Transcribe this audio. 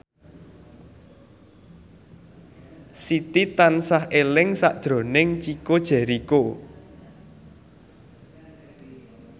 Siti tansah eling sakjroning Chico Jericho